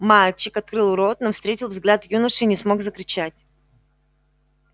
мальчик открыл рот но встретил взгляд юноши и не смог закричать